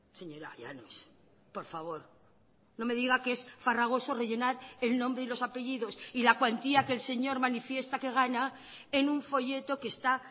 señora llanos por favor no me diga que es farragoso rellenar el nombre y los apellidos y la cuantía que el señor manifiesta que gana en un folleto que esta